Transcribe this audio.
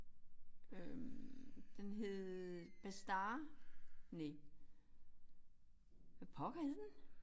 Øh den hed Bastard næh. Hvad pokker hed den?